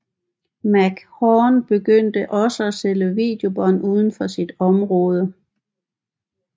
McMahon begyndte også at sælge videobånd uden for sit område